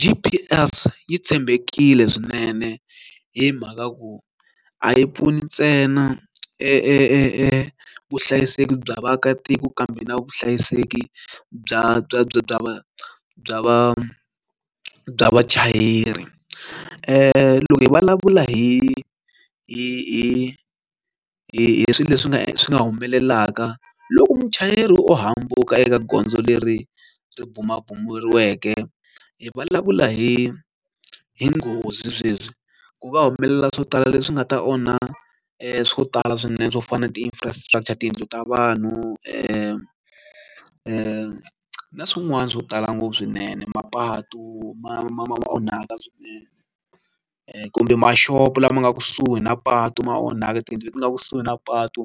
G_P_S yi tshembekile swinene hi mhaka ku a yi pfuni ntsena e e e evuhlayiseki bya vaakatiko kambe na vuhlayiseki bya bya bya bya va bya vachayeri loko hi vulavula hi hi hi swilo leswi nga swi nga humelelaka loko muchayeri o hambuka eka gondzo leri ri bumabumeriweke hi vulavula hi hi nghozi sweswi ku va humelela swo tala leswi nga ta onha swo tala swinene swo fana na ti-infrastructure tiyindlu ta vanhu na swin'wana swo tala ngopfu swinene mapatu ma ma onhaka swinene kumbe mashopo lama nga kusuhi na patu ma onhaka tiyindlu leti nga kusuhi na patu